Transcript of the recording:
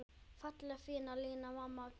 Fallega fína Lína, amma tjútt.